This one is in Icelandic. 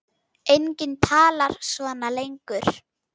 Enginn talar svona lengur.